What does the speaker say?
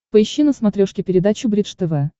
поищи на смотрешке передачу бридж тв